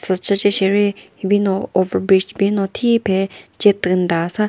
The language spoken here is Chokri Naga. sü chüce sheri hibino over bridge bino thiphe che tünta sa --